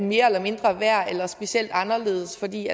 mere eller mindre værd eller specielt anderledes fordi